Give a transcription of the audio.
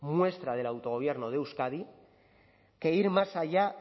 muestra del autogobierno de euskadi que ir más allá